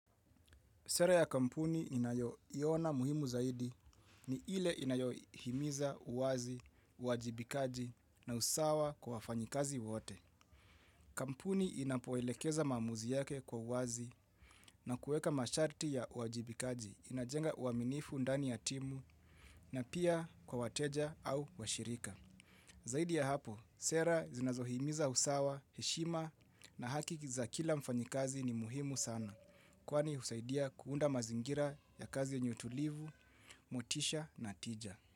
Sera ya kampuni inayoiona muhimu zaidi ni ile inayohimiza uwazi, uwajibikaji na usawa kwa wafanyikazi wote. Kampuni inapoelekeza maamuzi yake kwa uwazi na kueka masharti ya uwajibikaji inajenga uaminifu ndani ya timu na pia kwa wateja au washirika. Zaidi ya hapo, sera zinazohimiza usawa, heshima na hakiki za kila mfanyikazi ni muhimu sana. Kwani husaidia kuunda mazingira ya kazi yenye utulivu, motisha na tija.